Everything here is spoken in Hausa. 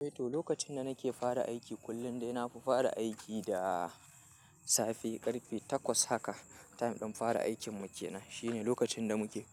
Eh to, lokacinda nake fara aiki, kullum dai nafi fara aiki da safe ƙarfe takwas haka. Ina dan fara aikin mu kenan shine lokacinda muke